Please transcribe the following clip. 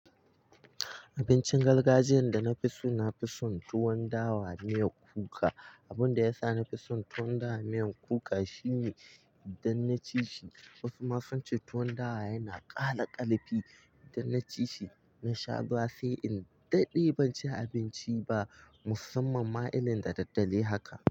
Abincin gargajiyyan da na fi so na fi son tuwon dawa miyan kuka. Abun da ya sa na fi son tuwon dawa miyan kuka shine idan na ci shi, wasu ma sun ce tuwon dawa yana ƙara ƙarfi. Idan na ci shi, na sha ruwa sai in daɗe ban ci abinci ba. Musamman ma irin da ɗa ɗare haka.